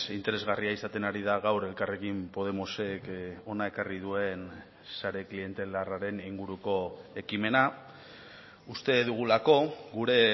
interesgarria izaten ari da gaur elkarrekin podemosek hona ekarri duen sare klientelarraren inguruko ekimena uste dugulako gure